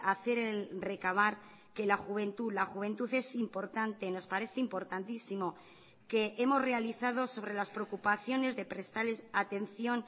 hacer el recabar que la juventud la juventud es importante nos parece importantísimo que hemos realizado sobre las preocupaciones de prestales atención